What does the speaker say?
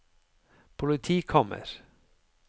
politikammer